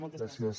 moltes gràcies